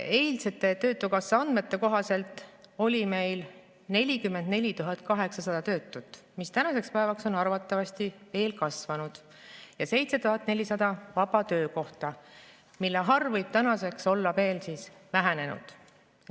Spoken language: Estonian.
Eilsete töötukassa andmete kohaselt oli meil 44 800 töötut, mis tänaseks päevaks on arvatavasti veel kasvanud, ja 7400 vaba töökohta, mille arv võib tänaseks olla veel vähenenud.